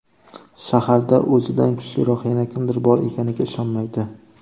Shaharda o‘zidan kuchliroq yana kimdir bor ekaniga ishonmaydi.